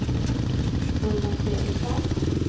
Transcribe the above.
Urban Fredriksson